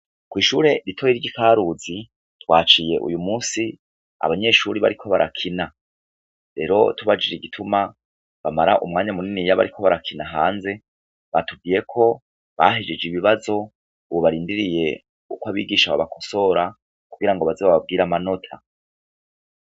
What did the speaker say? Ishure rito ry'iKaruzi twahaciye uyu munsi abanyeshure bariko barakina. Rero tubajije igituma bamara umwanya muniniya bariko barakina hanze, batubwiye ko bahejeje ibibazo ubu barindiriye ko abigisha babakosora kugira baze bababwire amanota.